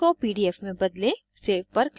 extension को pdf में बदलें